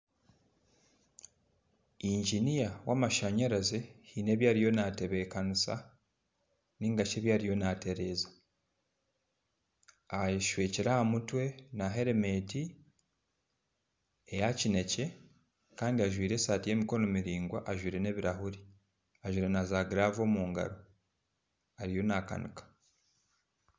Inginiya w'amashanyarazi haine ebi ariyo naatebekanisa nainga shi ebi ariyo naatereeza. Ayeshwekire aha mutwe na heremeeti eya kinekye kandi ajwaire esaati y'emikono mirangwa ajwaire n'ebirahuri ajwaire na zaagiraavu omu ngaro ariyo naakanika.